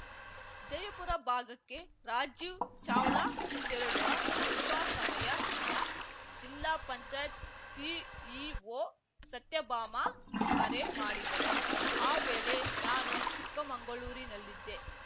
ಜಯಪುರ ಭಾಗಕ್ಕೆ ರಾಜೀವ್‌ ಚಾವ್ಲಾ ತೆರಳುವ ಸ್ವಲ್ಪ ಸಮಯ ಮುನ್ನ ಜಿಲ್ಲಾ ಪಂಚಾಯತ್ ಸಿಇಒ ಸತ್ಯಭಾಮ ಕರೆ ಮಾಡಿದ್ದರು ಆ ವೇಳೆ ನಾನು ಚಿಕ್ಕಮಂಗಳೂರಿನಲ್ಲಿದ್ದೆ